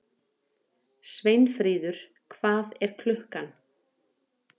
Sveinfríður, hvað er klukkan?